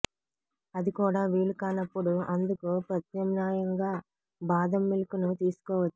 అది కూడా వీలు కానప్పుడు అందుకు ప్రత్యామ్నాయంగా బాదం మిల్క్ ను తీసుకోవచ్చు